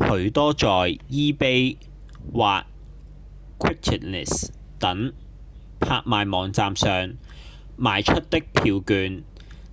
許多在 ebay 或 craigslist 等拍賣網站上賣出的票券